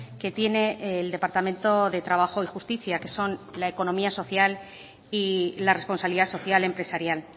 que tiene el departamento de trabajo y justicia que son la economía social y la responsabilidad social empresarial